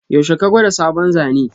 Yaushe ka gwada sabon Zane?